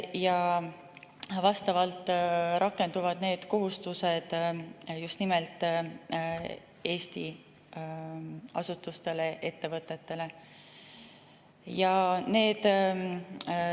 Need kohustused rakenduvad just nimelt Eesti asutuste ja ettevõtete suhtes.